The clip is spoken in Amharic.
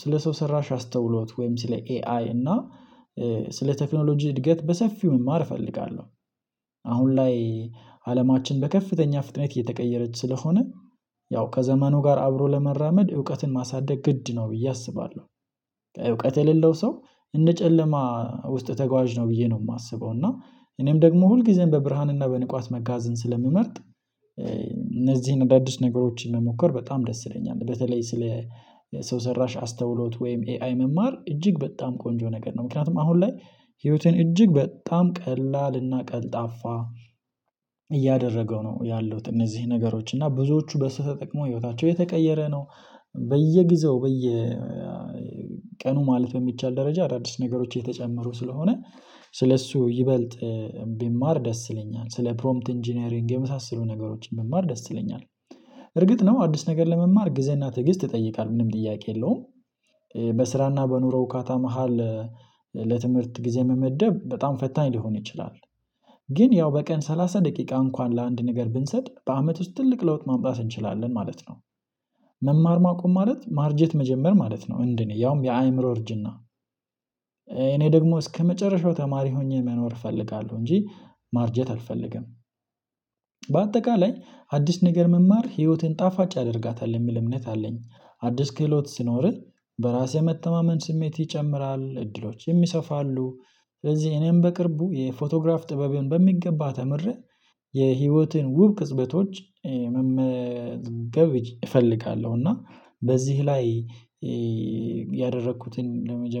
ስለ ሰው ሰራሽ አስተውሎት ወይም ስለ ኤአይ እና ስለ ቴክኖሎጂ እድገት በሰፊው መማር እፈልጋለሁ። አሁን ላይ አለማችን በከፍተኛ ፍጥነት እየተቀየረች ስለሆነ ያው ከዘመኑ ጋር አብሮ ለመራመድ እውቀትን ማሳደግ ግድ ነው ብዬ አስባለሁ። እውቀት የሌለው ሰው እንደ ጨለማ ውስጥ ተጓዥ ነው ብዬ ነው የማስበው እና እኔም ደግሞ ሁል ጊዜም በብርሃንና በንቃት መጓዝን ስለምመርጥ እነዚህን አዳዲስ ነገሮችን መሞከር በጣም ደስ ይለኛል። በተለይ ስለ ሰው ሰራሽ አስተውሎት ወይም ኤአይ መማር እጅግ በጣም ቆንጆ ነገር ነው ምክንያቱም አሁን ላይ ህይወቴን እጅግ በጣም ቀላል ቀልጣፋ እያደረገው ነው ያለው እነዚህ ነገሮች እና ብዙዎቹ በሱ ተጠቅሞ ህይወታቸው የተቀየረ ነው። በየጊዜው በየ ቀኑ ማለት በሚቻል ደረጃ አዳዲስ ነገሮች የተጨመሩ ስለሆነ ስለእሱ ይበልጥ ቢማር ደስ ይለኛል ስለ ፕሮምፕት ኢንጂነሪንግ የመሳሰሉ ነገሮችን መማር ደስ ይለኛል። እርግጥ ደግሞ አዲስ ነገር ለመማር ግዝና ትዕግስት ይጠይቃል ምንም ጥያቄ የለውም። በስራና በኑሮ እካታ መሃል ለትምህርት ጊዜ መመደብ በጣም ፈታኝ ሊሆን ይችላል። ግን ያው በቀን ሰላሳ ደቂቃ እንኳን ለአንድ ነገር ብንሰጥ በአመት ውስጥ ትልቅ ለውጥ ማምጣት እንችላለን ማለት ነው። መማር ማቆም ማለት ማርጀት መጀመር ማለት ነው። እንደኔ ያውም የአእምሮ እርጅና እኔ ደግሞ እስከመጨረሻው ተማሪ ሆኜ መኖር እፈልጋለሁ እንጂ ማርጀት አልፈልግም። በአጠቃላይ አዲስ ነገር መማር ህይወትን ጣፋጭ ያደርጋታል የምል እምነት አለኝ አዲስ ክህሎት ሲኖርህ በራሴ መተማመን ስሜት ይጨምራል እድሎች ይሰፋሉ። ስለዚህ እኔም በቅርቡ የፎቶግራፍ ጥበብን በሚገባ ተምሬ የህይወትን ውብ ቅጽበቶች መመዝገብ እፈልጋለሁ። እና በዚህ ላይ ያደረኩትን ለመጀመሪያ